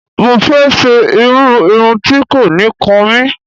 Mo fẹ́ ṣe irú irun tí kò ní kan mí.